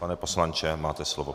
Pane poslanče, máte slovo.